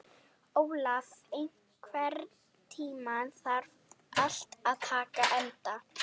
Olaf, einhvern tímann þarf allt að taka enda.